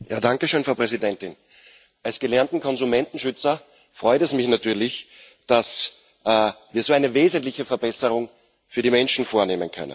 Frau Präsidentin! Als gelernten Konsumentenschützer freut es mich natürlich, dass wir so eine wesentliche Verbesserung für die Menschen vornehmen können.